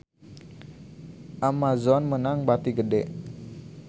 Amazon meunang bati gede